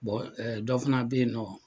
dɔ fana beyinɔ.